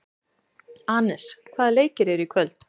Anes, hvaða leikir eru í kvöld?